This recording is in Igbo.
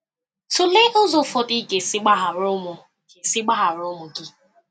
Tụlee ụzọ ụfọdụ ị ga-esi gbaghara ụmụ ga-esi gbaghara ụmụ gị.